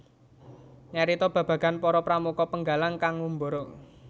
Nyarita babagan para pramuka Penggalang kang ngumbara